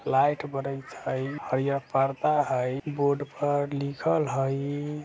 लाइट बरईत हई हई परदा हई बोर्ड पर लिखल हई |